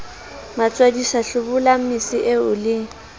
matswadisa hlobolang mese eo le